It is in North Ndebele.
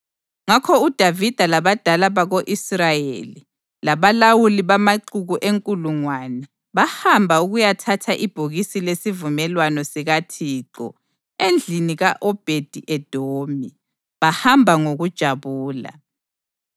Ngakho uDavida labadala bako-Israyeli labalawuli bamaxuku enkulungwane bahamba ukuyathatha ibhokisi lesivumelwano sikaThixo endlini ka-Obhedi-Edomi, bahamba ngokujabula.